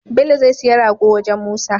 Bello zai siya rago wajan musa